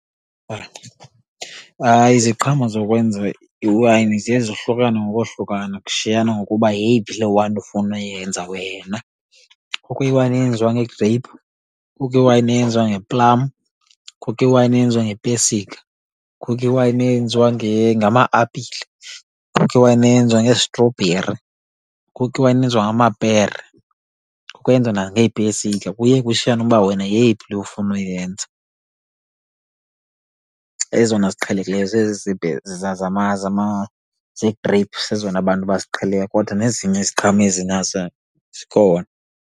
Hayi, iziqhamo zokwenza iwayini ziye zohlukane ngokohlukana kushiyana ngokuba yeyiphi le wayini ofuna uyenza wena. Kukho iwayini eyenziwa ngegreyphu, kukho iwayini eyenziwa ngeplam, kukho iwayini eyenziwa ngepesika, kukho iwayini eyenziwa ngama-apile, kukho iwayini eyenziwa ngeestrobheri, kukho iwayini eyenziwa ngamapere. Kwenziwa nangeepesika, kuye kushiyane uba wena yeyiphi le ufuna ukuyenza. Ezona ziqhelekileyo zezi zegreyphu zezona abantu baziqhelileyo kodwa nezinye iziqhamo ezi nazo zikhona.